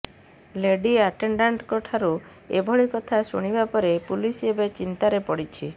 lady ଆଟେଣ୍ଡାଣ୍ଟଙ୍କଠାରୁ ଏଭଳି କଥା ଶୁଣିବା ପରେ ପୁଲିସ ଏବେ ଚିନ୍ତାରେ ପଡ଼ିଛି